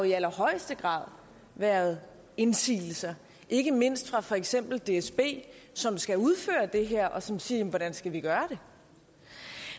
i allerhøjeste grad har været indsigelser ikke mindst fra for eksempel dsb som skal udføre det her og som siger jamen hvordan skal vi gøre